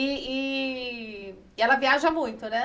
E e ela viaja muito, né?